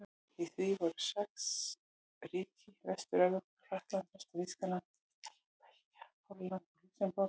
Í því voru sex ríki í Vestur-Evrópu: Frakkland, Vestur-Þýskaland, Ítalía, Belgía, Holland og Lúxemborg.